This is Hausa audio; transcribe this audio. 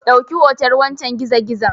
Dauki hoton wancen gizo gizon